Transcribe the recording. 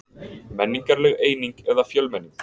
Menningarleg eining eða fjölmenning